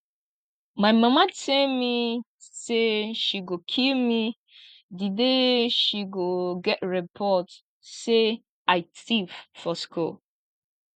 my mama tell me say she go kill me the day she go get report say i thief for school